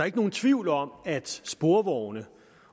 ikke nogen tvivl om at sporvogne